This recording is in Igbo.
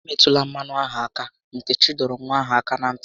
"E metụla mmanụ aṅụ ahụ áká!" Nkechi dọrọ nwa ahụ áká na ntị